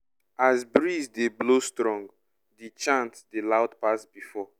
as breeze dey blow strong the chant dey loud pass before.